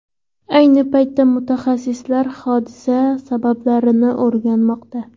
Ayni paytda mutaxassislar hodisa sabablarini o‘rganmoqda.